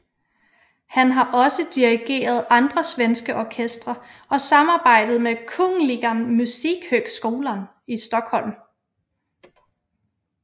Han har også dirigeret andre svenske orkestre og samarbejdet med Kungliga Musikhögskolan i Stockholm